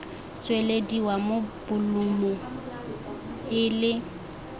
tswelediwa mo bolumu e le